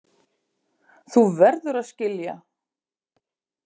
Þú verður að skilja.